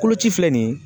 Koloci filɛ nin ye